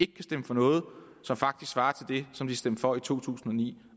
kan stemme for noget som faktisk svarer til det som de stemte for i to tusind og ni